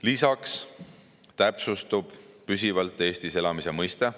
Lisaks täpsustub püsivalt Eestis elamise mõiste.